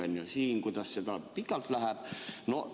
Kuidas siin see nii pikalt läheb?